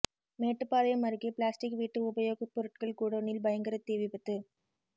மேட்டுப்பாளையம் அருகே பிளாஸ்டிக் வீட்டு உபயோகப் பொருட்கள் குடோனில் பயங்கர தீ விபத்து